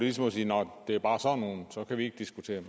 er som at sige nå det er bare sådan nogle så kan vi ikke diskutere